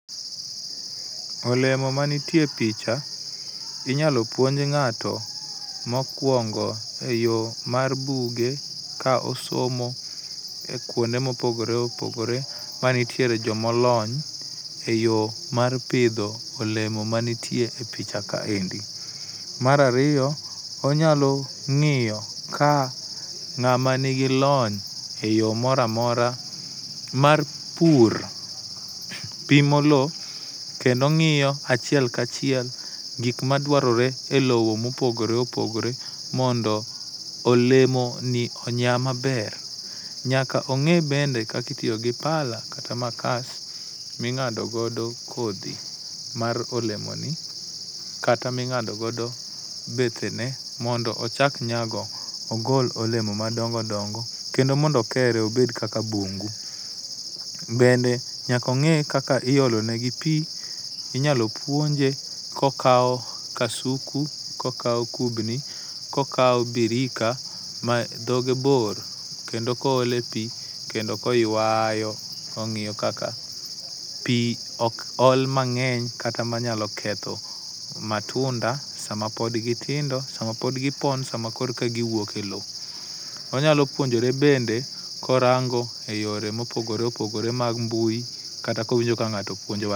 Olemo mantie e picha inyalo puonj ng'ato mokuongo eyo mar buge ka osomo ekuonde moogore opogore mantiee joma olony eyo mar pidho olemo manitie e picha. Mar ariyo, onyalo ng'iyo ka ng'ama nigi lony eyo moro amora mar pur pimo lowo kendo ng'iyo achiel ka chiel gik madwarore elowo mondo olemoni onya maber. Nyaka ong'e bende kaka itiyo gi pala kata makas ma ing'ado godo kodhi mar olemoni kata ma ing'ado godo bethene mondo ochak nyago ogol olemo madongo dongo mondo onyagi obed kaka bungu. Bende nyaka ong'e kaka iolo negi pi, inyalo puonje kokawo kasuku, kokawo kubni kokawo birika madhoge bor kendo ka oole pi kendo koywayo kong'iyo kaka pi ok ol mang'eny kata manyalo ketho matunda sama pod gitindo sama pod gipon ,sama koro ka giwuok e lowo. Onyalo puonjore bende korango eyore mopogore opogore mag mbui kata kowinjo ka ng'ato puonjo wad